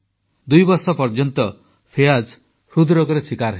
ଦୁଇବର୍ଷ ପର୍ଯ୍ୟନ୍ତ ଫିୟାଜ ହୃଦରୋଗର ଶୀକାର ହେଲେ